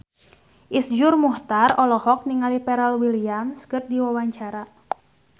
Iszur Muchtar olohok ningali Pharrell Williams keur diwawancara